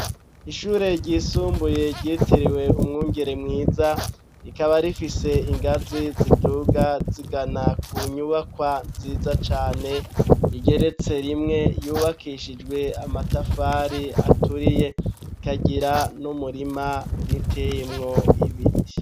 Ishure ryisumbuye ryitiriwe umwungere mwiza rikaba rifise ingazi ziduga zigana ku nyubakwa nziza cane igeretse rimwe yubakishijwe amatafari aturiye ikagira n'umurima uteyemwo ibiti.